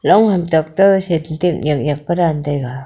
long ham tok to sentak yak yak pa dan taiga.